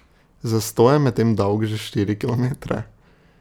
Zastoj je medtem dolg že štiri kilometre.